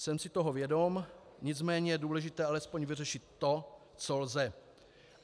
Jsem si toho vědom, nicméně je důležité alespoň vyřešit to, co lze.